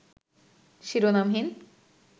শিরোনামহীন